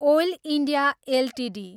oil India Ltd